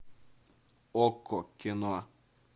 окко кино